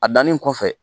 A dannin kɔfɛ